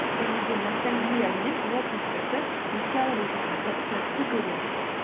және де ностальгиямен ол сәттерді еске алып отырғанды жақсы көреміз